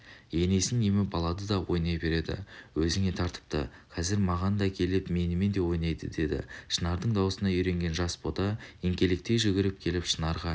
енесін еміп алады да ойнай береді өзіңе тартыпты қазір маған да келіп менімен де ойнайды деді шынардың даусына үйренген жас бота еңкелектей жүгіріп келіп шынарға